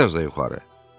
Bir az da yuxarı.